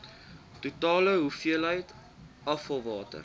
totale hoeveelheid afvalwater